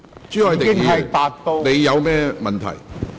朱凱廸議員，你有甚麼問題？